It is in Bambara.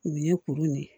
Nin ye kuru nin ye